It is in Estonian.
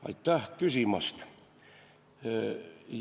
Aitäh küsimast!